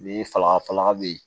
Ni fala fala be ye